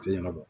Sele ka bɔ